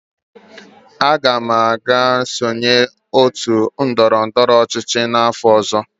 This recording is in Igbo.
Aga m aga sonye n'otu ndọrọ ndọrọ ọchịchị n'afọ ọzọ.